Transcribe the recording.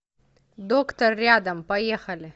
доктор рядом поехали